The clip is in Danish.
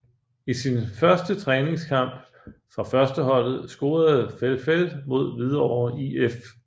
I sin første træningskamp for førsteholdet scorede Felfel mod Hvidovre IF